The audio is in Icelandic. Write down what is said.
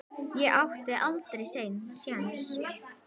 Ég átti aldrei séns.